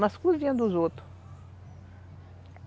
Nas cozinhas dos outros.